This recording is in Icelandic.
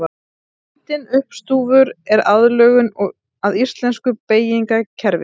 Myndin uppstúfur er aðlögun að íslensku beygingarkerfi.